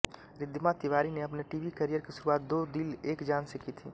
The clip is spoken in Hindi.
रिद्धिमा तिवारी ने अपने टीवी करियर की शुरुआत दो दिल एक जान से की थी